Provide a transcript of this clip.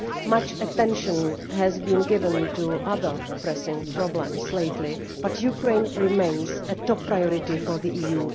Much attention has been given to other pressing problems lately, but Ukraine remains a top priority for the EU.